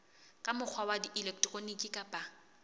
ka mokgwa wa elektroniki kapa